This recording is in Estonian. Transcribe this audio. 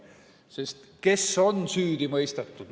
Sest kes on süüdi mõistetud?